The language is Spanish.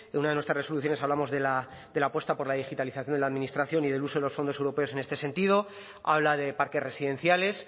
una de nuestras resoluciones hablamos de la apuesta por la digitalización de la administración y del uso de los fondos europeos en este sentido habla de parques residenciales